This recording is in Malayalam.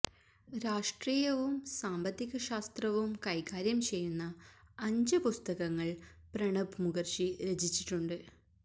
രാഷ്ട്രീയവും സാമ്പത്തിക ശാസ്ത്രവും കൈകാര്യം ചെയ്യുന്ന അഞ്ച് പുസ്തകങ്ങള് പ്രണബ് മുഖര്ജി രചിച്ചിട്ടുണ്ട്